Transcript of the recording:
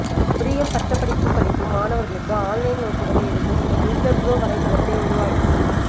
பொறியியல் பட்டப் படிப்பு படிக்கும் மாணவர்களுக்கு ஆன்லைனில் வகுப்புகளை எடுக்கும் இந்த டியூட்டர்ப்ரோ வலைதளத்தை உருவாக்கி